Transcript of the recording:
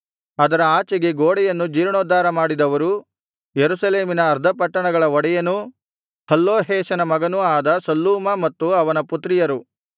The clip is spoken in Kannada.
ಅದರ ಆಚೆಗೆ ಗೋಡೆಯನ್ನು ಜೀರ್ಣೋದ್ಧಾರ ಮಾಡಿದವರು ಯೆರೂಸಲೇಮಿನ ಅರ್ಧ ಪಟ್ಟಣಗಳ ಒಡೆಯನೂ ಹಲ್ಲೊಹೇಷನ ಮಗನೂ ಆದ ಶಲ್ಲೂಮ ಮತ್ತು ಅವನ ಪುತ್ರಿಯರು